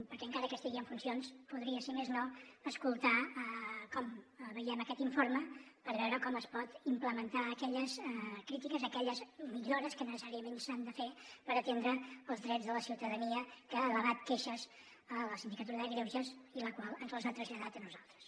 perquè encara que estigui en funcions podria si més no escoltar com veiem aquest informe per veure com es pot implementar aquelles crítiques aquelles millores que necessàriament s’han de fer per atendre els drets de la ciutadania que ha elevat queixes a la sindicatura de greuges la qual ens les ha traslladat a nosaltres